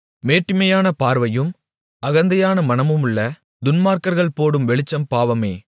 மேட்டிமையான பார்வையும் அகந்தையான மனமுமுள்ள துன்மார்க்கர்கள் போடும் வெளிச்சம் பாவமே